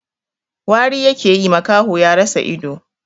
Wari yake yi, makaho ya rasa ido.